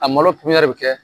A malo kun yɛrɛ bɛ kɛ